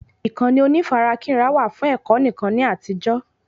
Ìkànnì onífarakínra wà fún ẹ̀kọ́ nìkan ni àtijó